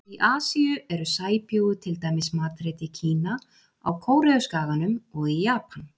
Í Asíu eru sæbjúgu til dæmis matreidd í Kína, á Kóreuskaganum og í Japan.